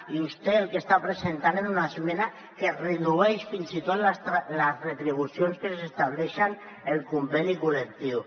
i vostè el que està presentant és una esmena que redueix fins i tot les retribucions que s’estableixen en el conveni col·lectiu